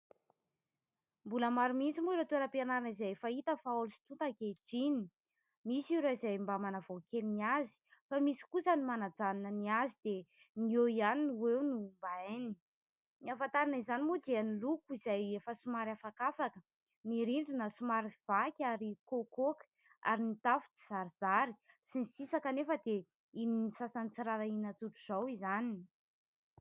Mbola maro mihitsy moa ireo toeram-pianarana izay efa hita fa haolo sy tonta ankehitriny. Misy ireo izay mba manavao kely ny azy fa misy kosa ny manajanona ny azy dia ny eo ihany no eo no mba hainy. Ny ahafantarana izany moa dia ny loko izay efa somary afakafaka, ny rindrina somary vaky ary koakoaka ary ny tafo tsy zarisary sy ny sisa kanefa dia ianian'ny sasany tsy rarahiana tsotra izao izany.